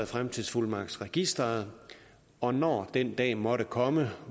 fremtidsfuldmagtsregisteret og når den dag måtte komme